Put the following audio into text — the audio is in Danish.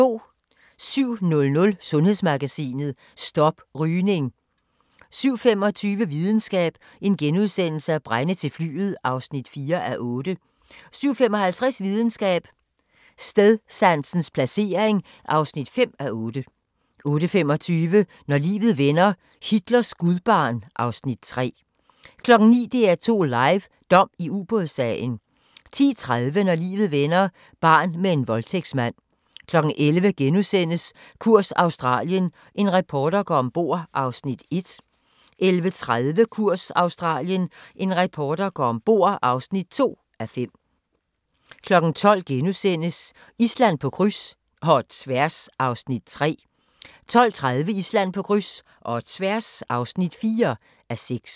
07:00: Sundhedsmagasinet: Stop rygning 07:25: Videnskab: Brænde til flyet (4:8)* 07:55: Videnskab: Stedsansens placering (5:8) 08:25: Når livet vender - Hitlers gudbarn (Afs. 3) 09:00: DR2 Live: Dom i Ubådssagen 10:30: Når livet vender – barn med en voldtægtsmand 11:00: Kurs Australien – en reporter går ombord (1:5)* 11:30: Kurs Australien – en reporter går ombord (2:5) 12:00: Island på kryds – og tværs (3:6)* 12:30: Island på kryds – og tværs (4:6)